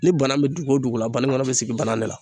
Ni banan be dugu o dugu la baniŋɔnɔ be sigi banan de la